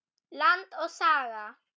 Land og Saga.